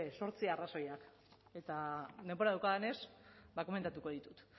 zortzi arrazoiak eta denbora daukadanez ba komentatuko ditut